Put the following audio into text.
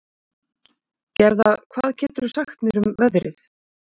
Gerða, hvað geturðu sagt mér um veðrið?